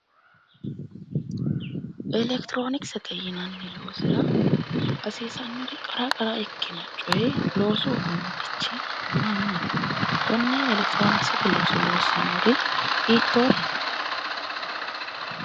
Electronicsete yinanni loosira hasiisanno qara qara ikkino coyi loosu uduunnichi maa maati konne electronicsete looso loossannori hiittooreeti?